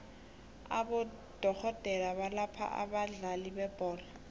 abodorhodere abalapha abadlali bebholo